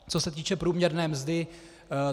Co se týče průměrné mzdy.